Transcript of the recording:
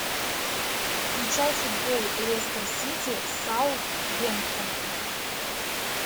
включай футбол лестер сити с саутгемптоном